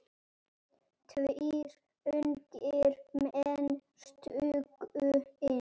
Tveir ungir menn stukku inn.